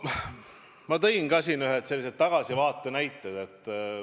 Ma tõin teile seejuures ühed tagasivaatelised näited.